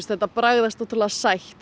þetta bragðast ótrúlega sætt